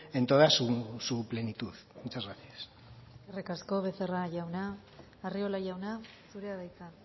en toda su plenitud muchas gracias eskerrik asko becerra jauna arriola jauna zurea da hitza